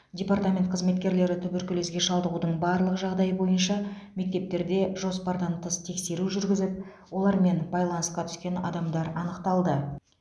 департамент қызметкерлері туберкулезге шалдығудың барлық жағдайы бойынша мектептерде жоспардан тыс тексеру жүргізіп олармен байланысқа түскен адамдар анықталды